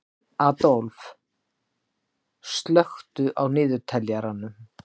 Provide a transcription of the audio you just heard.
Aðólf, slökktu á niðurteljaranum.